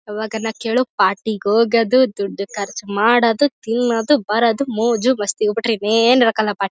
ಅವಾಗನಕ್ ಕೇಳೋ ಪಾರ್ಟಿ ಗೆ ಹೋಗೋದು ದುಡ್ಡ್ ಖರ್ಚ್ ಮಾಡೋದು ತಿನ್ನೋದು ಬರೋದು ಮೊಜೊ ಮಸ್ತಿ ಇವು ಬಿಟ್ರೆ ಏನು ಇರಕ್ಕಿಲ್ಲಾ ಪಾರ್ಟಿ --